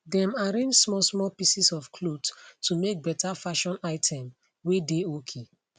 dem arrange small small pieces of cloth to make better fashion item whey dey okay